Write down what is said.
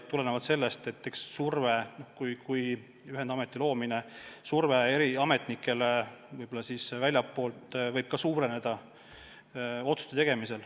Aga väljastpoolt tulev surve eri ametnikele nende otsuste tegemisel võib suureneda.